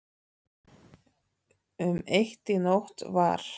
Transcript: Um eitt í nótt var